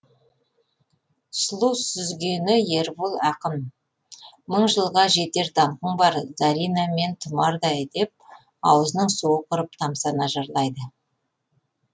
сұлу сүзгені ербол ақын мың жылға жетер даңқың бар зарина мен тұмардай деп аузының суы құрып тамсана жырлайды